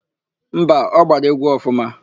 Mba, ọ gbara égwú ọfụma.